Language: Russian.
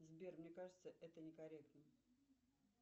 сбер мне кажется это некорректно